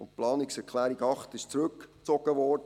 Die Planungserklärung 8 wurde zurückgezogen.